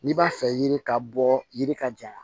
N'i b'a fɛ yiri ka bɔ yiri ka jan